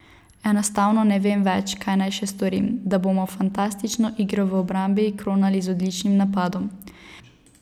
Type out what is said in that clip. Enostavno ne vem več, kaj naj še storim, da bomo fantastično igro v obrambi kronali z odličnim napadom.